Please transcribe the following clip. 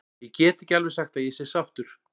Ég get ekki alveg sagt að ég sé sáttur.